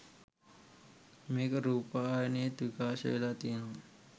මේක රූපවාහිනියෙත් විකාශය වෙලා තියෙනවා